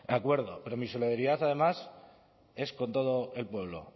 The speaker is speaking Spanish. acuerdo pero mi solidaridad además es con todo el pueblo